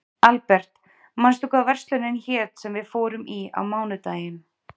Albert, manstu hvað verslunin hét sem við fórum í á mánudaginn?